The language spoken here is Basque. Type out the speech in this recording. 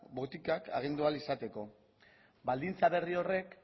botikak agindu ahal izateko baldintza berri horrek